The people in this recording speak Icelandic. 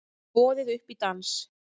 Boðið upp í dans